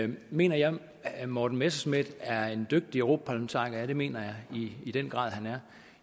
ved mener jeg at morten messerschmidt er en dygtig en europaparlamentariker ja det mener jeg i den grad han er